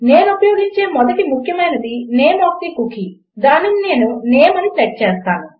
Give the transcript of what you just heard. నేను ఉపయోగించే మొదటి ముఖ్యమైనది నేమ్ ఒఎఫ్ తే కుకీ దానిని నేను నేమ్ అని సెట్ చేస్తాను